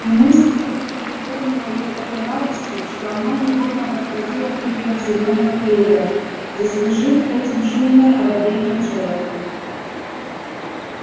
и мысль эта переполнила её такой радостью что она невольно подхватила припев зелёного клевера заслужив этим шумное одобрение джералда